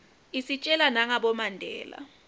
isitjela nagabo mandela